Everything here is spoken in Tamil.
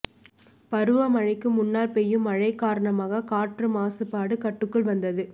பருவமழைக்கு முன்னால் பெய்யும் மழை காரணமாக காற்று மாசுபாடு கட்டுக்குள் வந்தது